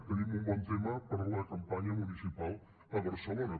tenim un bon tema per a la campanya municipal a barcelona